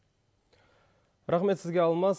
рахмет сізге алмас